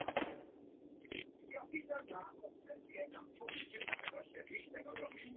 Pabbi stóð með Guðberg á handleggnum meðan mamma kyssti þá hvern á fætur öðrum.